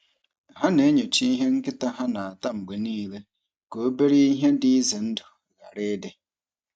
Ha na-enyocha ihe nkịta ha na-ata mgbe niile ka obere ihe dị ize ndụ ghara ịdị.